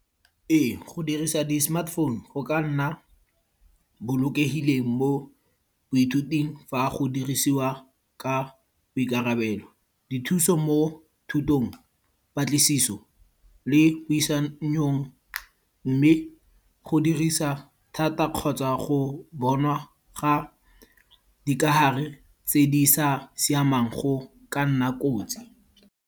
Ee, go dirisa di smartphone go ka nna bolokegileng mo boithuting fa go dirisiwa ka boikarabelo. Dithuso mo thutong, patlisiso le puisanong. Mme go dirisa thata kgotsa go bonwa ga dikahare tse di sa siamang go ka nna kotsi.